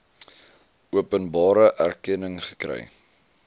openbare erkenning gekry